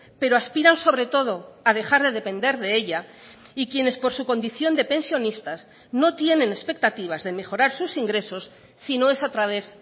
pero aspiran sobre todo a dejar de depender de ella y quienes por su condición de pensionistas no tienen expectativas de mejorar sus ingresos si no es a través